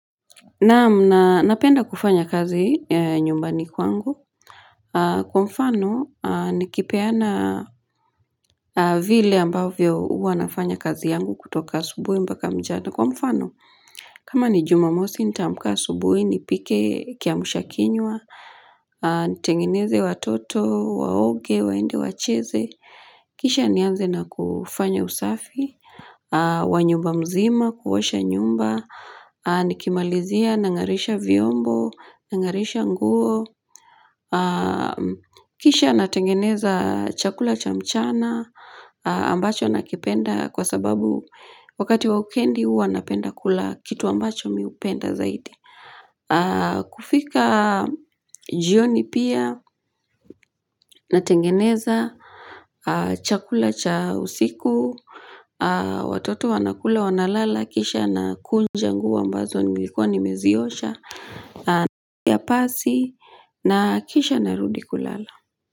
Naam, napenda kufanya kazi nyumbani kwangu. Kwa mfano, nikipeana vile ambavyo huwa nafanya kazi yangu kutoka asubuhi mpaka mchana. Kwa mfano, kama ni jumamosi, nitamka asubuhi, nipike kiamsha kinywa. Nitengeneze watoto. Waoge, waende wacheze. Kisha nianze na kufanya usafi. Wa nyumba mzima. Kuosha nyumba. Nikimalizia, nang'arisha viombo, nang'arisha nguo. Kisha, natengeneza chakula cha mchana. Ambacho nakipenda kwa sababu wakati wa wikendi, huwa napenda kula kitu ambacho mimi hupenda zaidi. Kufika jioni pia natengeneza chakula cha usiku. Watoto wanakula, wanalala kisha nakunja nguo ambazo nilikuwa nimeziyosha ya pasi. Na kisha narudi kulala.